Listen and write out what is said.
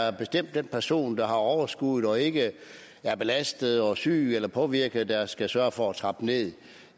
er bestemt den person der har overskuddet og ikke er belastet og syg eller påvirket der skal sørge for at trappe nederst